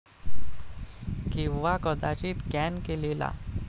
किंवा कदाचित कॅन केलेला?